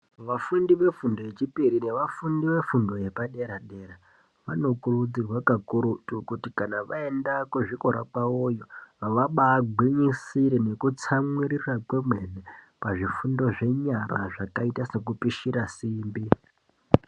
Vafundi ve fundo ye chipiri ne vafundi ve fundo yepa dera dera vano kurudzirwa ka kurutu kuti kana vaenda ku zvikora kwawo vabai gwinyisire neku tsamwirira kwemene pazvi fundo zvenyara zvakaita seku pishira simbi.